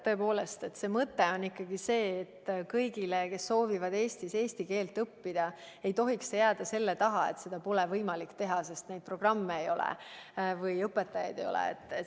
Tõepoolest, mõte on ikkagi see, et kõigil, kes soovivad Eestis eesti keelt õppida, ei tohiks see jääda selle taha, et seda pole võimalik teha, sest neid programme ei ole või õpetajaid ei ole.